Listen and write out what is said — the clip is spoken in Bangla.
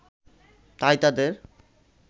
তাই তাদের